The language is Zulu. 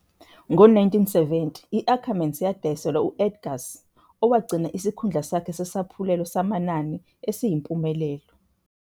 ngo-1970, i-Ackermans yadayiselwa u- Edgars owagcina isikhundla sakhe sesaphulelo samanani esiyimpumelelo.